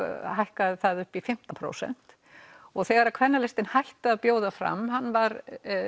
hækkaði það upp í fimmtán prósent og þegar Kvennalistinn hætti að bjóða fram hann var